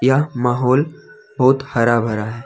यह माहौल बहुत हरा भरा है।